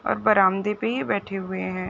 और बरामदे पे ही बैठे हुए है।